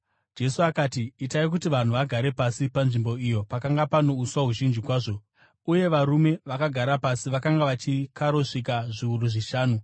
Jesu akati, “Itai kuti vanhu vagare pasi.” Panzvimbo iyo pakanga pano uswa huzhinji kwazvo, uye varume vakagara pasi vakanga vachikarosvika zviuru zvishanu.